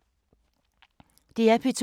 DR P2